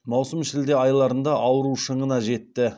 маусым шілде айларында ауру шыңына жетті